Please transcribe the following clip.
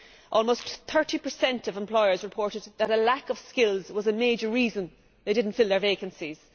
Almost 30 of employers reported that a lack of skills was a major reason they did not fill their vacancies.